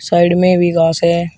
Side में भी घास है।